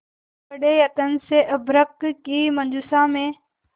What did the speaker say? बड़े यत्न से अभ्र्रक की मंजुषा में